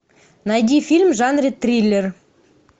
найди фильм в жанре триллер